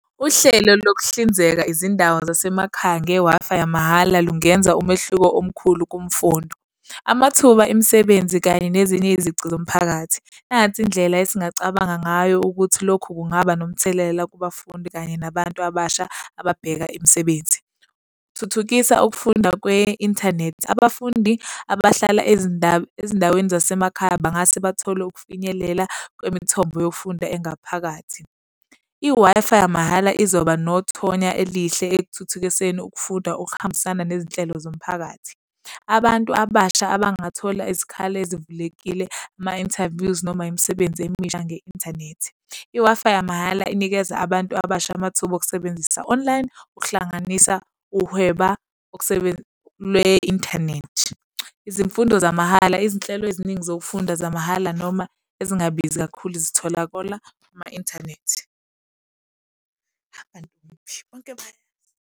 Uhlelo lokuhlinzeka izindawo zasemakhaya nge-Wi-Fi yamahhala lungenza umehluko omkhulu kumfundo. Amathuba emisebenzi kanye nezinye izici zomphakathi. Nansi indlela esingacabangi ngayo ukuthi lokhu kungaba nomthelela kubafundi kanye nabantu abasha ababheka imisebenzi. Thuthukisa ukufunda kwe-inthanethi. Abafundi abahlala ezindaweni zasemakhaya bengase bathole ukufinyelela kwemithombo yokufunda engaphakathi. I-Wi-Fi yamahhala izoba nothonya elihle ekuthuthukiseni ukufunda, okuhambisana nezinhlelo zomphakathi. Abantu abasha abangathola izikhala ezivulekile, ama-interviews noma imisebenzi emisha nge-inthanethi. I-Wi-Fi yamahhala inikeza abantu abasha amathuba okusebenzisa online, ukuhlanganisa uhweba lwe-inthanethi. Izifundo zamahhala, izinhlelo eziningi zokufunda zamahhala noma ezingabizi kakhulu, zitholakala ama-inthanethi. Abantu kephi bonke bayazi.